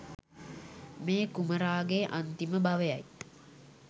මේ කුමරාගේ අන්තිම භවයයි.